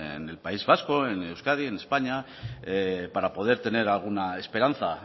en el país vasco en euskadi en españa para poder tener alguna esperanza